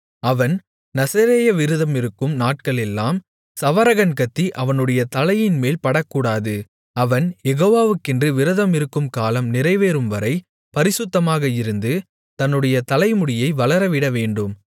அவன் நசரேய விரதமிருக்கும் நாட்களெல்லாம் சவரகன் கத்தி அவனுடைய தலையின்மேல் படக்கூடாது அவன் யெகோவாக்கென்று விரதமிருக்கும் காலம் நிறைவேறும்வரை பரிசுத்தமாக இருந்து தன்னுடைய தலைமுடியை வளரவிடவேண்டும்